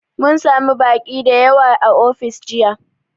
Mun sami baƙi da yawa a ofis jiya